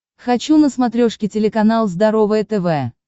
хочу на смотрешке телеканал здоровое тв